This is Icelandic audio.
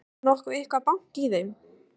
Var nokkuð eitthvað bank í þeim?